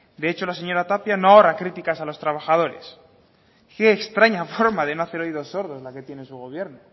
de hecho la señora tapia no ahorra críticas a los trabajadores qué extraña forma de no hacer oídos sordos la que tiene su gobierno